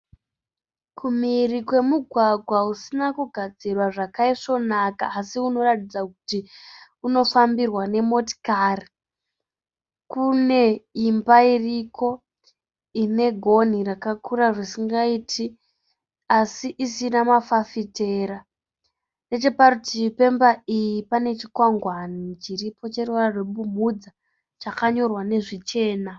Kumhiri kwemugwagwa usina kugadzirwa zvakaisvonaka asi unoratidza kuti unofambirwa nemotikari, kune imba iriko ine gonhi rakakura zvisingaiti asi isina mafafitera. Necheparutivi pemba iyi pane chikwangwani chiripo cheruvara rwebumhudza chakanyorwa nezvichena.